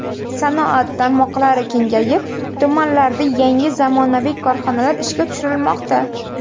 Sanoat tarmoqlari kengayib, tumanlarda yangi zamonaviy korxonalar ishga tushirilmoqda.